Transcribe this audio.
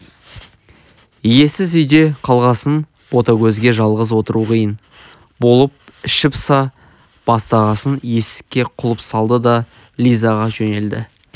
иесіз үйде қалғасын ботагөзге жалғыз отыру қиын болып іші пыса бастағасын есікке құлып салды да лизаға жөнелді